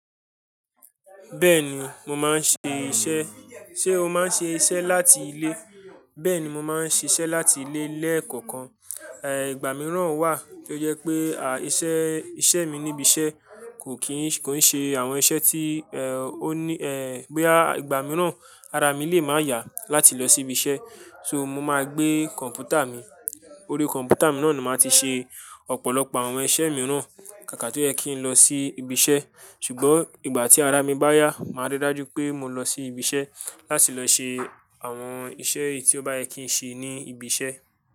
Bẹ́ẹ̀ni, mo máa ń ṣe iṣẹ́. Ṣé o máa ń ṣe iṣẹ́ láti ilé? Bẹ́ẹ̀ni, mo máa ń ṣiṣẹ́ láti ilé lẹ́ẹ̀kọ̀kan. Èhh, ìgbà mìíràn wà tó jẹ́ pé, àh, iṣẹ́, iṣẹ́ mi níbiṣẹ́ kò kíì ṣ-- kò ń ṣe àwọn iṣẹ́ tí, ẹ́h, ó ní, ẹ́h, boyaa, ìgbà mìíràn ara mi lè máa yà láti lọ sí ibiṣẹ́. So, mo máa gbé kọ̀npútà mi. Orí kọ̀npútà mi náà ni màá ti ṣe ọ̀pọ̀lọpọ̀ àwọn iṣẹ́ mìíràn kàkà tó yẹ kí n lọ sí ibiṣẹ́. Ṣùgbọ́n ìgbà tí ara mi bá yá, màá ríi dájú pé mo lọ sí ibiṣẹ́ láti lọ ṣe àwọn iṣẹ́ eyi tí ó bá yẹ kí n ṣe ní ibi iṣẹ́.